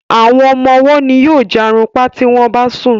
Àwọn ọmọ ọwó ní yóò jarunpa tí wón bá sùn.